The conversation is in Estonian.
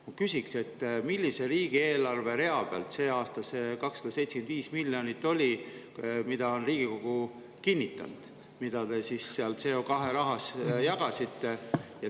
Ma küsin, millise rea peal selle aasta riigieelarves, mille Riigikogu on kinnitanud, oli see 275 miljonit, mida te siis CO2 rahas jagasite.